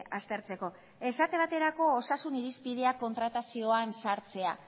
aztertzeko esate baterako osasun irizpidea kontratazioan sartzea